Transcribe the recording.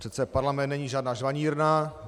Přece parlament není žádná žvanírna.